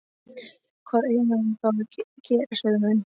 Hvað eigum við þá að gera? sögðu menn.